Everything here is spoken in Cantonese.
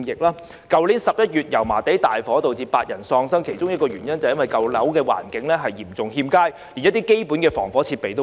去年11月油麻地大火導致8人喪生，其中一個原因，就是因為舊樓的環境嚴重欠佳，連基本防火設備都沒有。